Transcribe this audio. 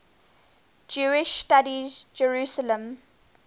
jewish studies jerusalem